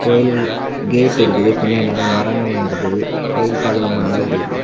கோயில் கேட்டு இருக்குது பின்னாடி நெறைய மரங்களல்லா இருக்குது கோயில் பாக்க ரொம்ப நல்லாருக்குது.